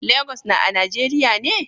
Lagos na a nageriya ne?